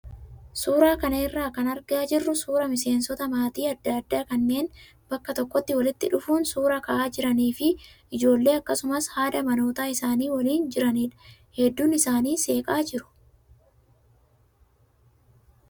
Suuraa kana irraa kan argaa jirru suuraa miseensota maatii adda addaa kanneen bakka tokkotti walitti dhufuun suuraa ka'aa jiranii fi ijoolee akkasumas haadha manoota isaanii waliin jiranidha. Hedduun isaanii seeqaa jiru.